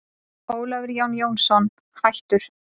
Ólafur Jón Jónsson, hættur